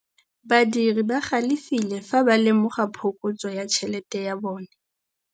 Badiri ba galefile fa ba lemoga phokotsô ya tšhelête ya bone.